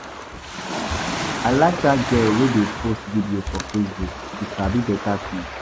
I like dat girl wey dey post video for Facebook, she sabi beta thing.